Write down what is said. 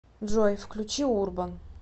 джой включи урбан